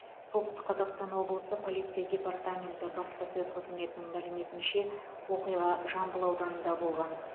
солтүстік қазақстан облысы полиция департаменті баспасөз қызметінің мәліметінше оқиға жамбыл ауданында болған